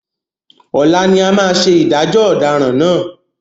Ọlá ni a máa ṣe ìdájọ́ ọ̀daràn náà.